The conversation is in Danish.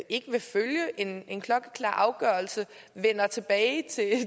ikke vil følge en en klokkeklar afgørelse vender tilbage